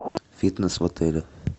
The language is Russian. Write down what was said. фитнес в отеле